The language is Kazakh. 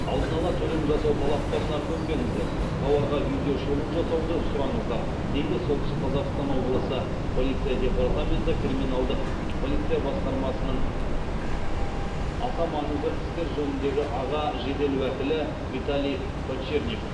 алдын ала төлем жасау талаптарына көнбеңіздер тауарға видеошолу жасауды сұраңыздар дейді солтүстік қазақстан облысын полиция департаменті криминалдық полиция басқармасының аса маңызы істер жөніндегі аға жедел уәкілі виталий подчерник